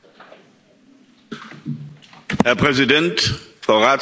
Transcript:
Herr Präsident, Frau Ratspräsidentin, Herr Kommissionspräsident!